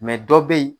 dɔ bɛ yen